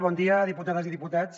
bon dia diputades i diputats